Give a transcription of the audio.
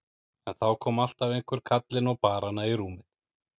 En þá kom alltaf einhver kallinn og bar hana í rúmið.